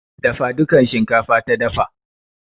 Dafa dukan shinkafa ta dafa.